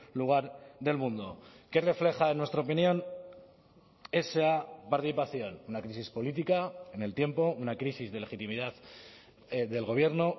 lugar del mundo qué refleja en nuestra opinión esa participación una crisis política en el tiempo una crisis de legitimidad del gobierno